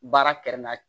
Baara kɛrɛnkɛrɛn na